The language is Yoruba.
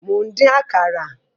Mò ń dín Àkàrà